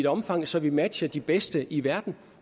omfang så vi matcher de bedste i verden